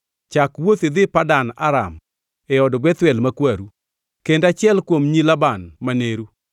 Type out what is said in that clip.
Chak wuoth idhi Padan Aram, e od Bethuel ma kwaru. Kend achiel kuom nyi Laban ma neru.